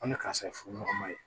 An bɛ karisa ye furuɲɔgɔnma ye